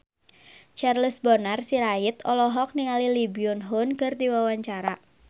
Charles Bonar Sirait olohok ningali Lee Byung Hun keur diwawancara